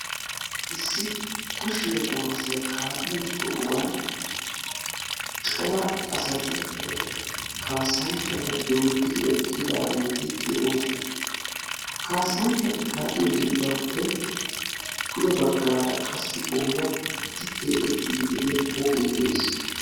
Issi kushiya kuwasiya kaa'iyo sohuwan cora asati kaassanchchata dooddidi eqqidaageeti de'oosona. Ha kaassanchchati kaa'iyo dembbaappe pude baggaara qassi ooratti keexettiiddi de'iya pooqee de'ees.